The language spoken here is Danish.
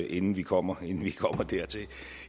inden vi kommer dertil